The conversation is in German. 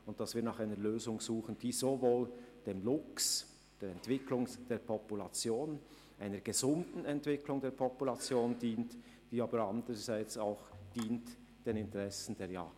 Wir wollen nach einer Lösung suchen, die sowohl einer gesunden Entwicklung der Luchspopulation dient, als auch die Interessen der Jagd berücksichtigt.